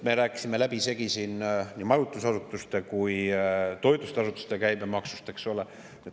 Me rääkisime läbisegi siin nii majutusasutuste kui ka toitlustusasutuste käibemaksust, eks ole.